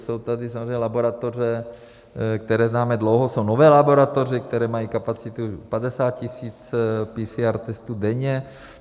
Jsou tady samozřejmě laboratoře, které známe dlouho, jsou nové laboratoře, které mají kapacitu 50 000 PCR testů denně.